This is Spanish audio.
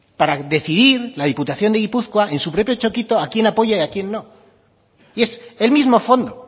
para decidir la diputación de gipuzkoa en su propio txokito a quien apoya y a quien no y es el mismo fondo